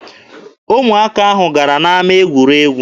Ụmụ akwụkwọ ahụ gara n'ama egwuregwu.